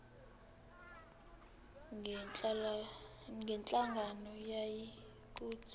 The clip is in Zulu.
ngalenhlangano yiya kut